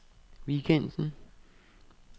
weekenden